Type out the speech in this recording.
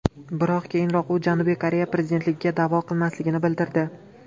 Biroq keyinroq u Janubiy Koreya prezidentligiga da’vo qilmasligini bildirdi .